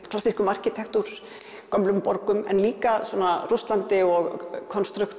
klassískum arkitektúr gömlum borgum en líka Rússlandi og